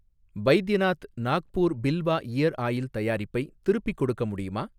Baidyanath Nagpur Bilva ear oil தயாரிப்பை திருப்பிக் கொடுக்க முடியுமா?